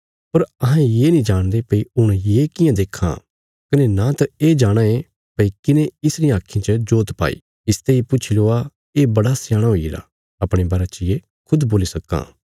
पर अहें ये नीं जाणदे भई हुण ये कियां देक्खां कने न त ये जाणाँ ये भई किने इस रियां आक्खीं च जोत पाई इसते इ पुछी लवा ये बड़ा सयाणा हुईगरा अपणे बारे च ये खुद बोल्ली सक्कां